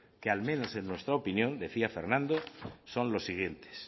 que al menos en nuestra opinión decía fernando son los siguientes